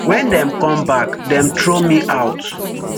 wen dem come back dem throw me out